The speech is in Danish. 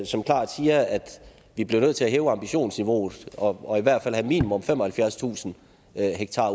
som klart siger at vi bliver nødt til at hæve ambitionsniveauet og i hvert fald have minimum femoghalvfjerdstusind ha